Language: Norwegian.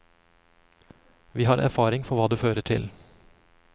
Vi har erfaring for hva det fører til.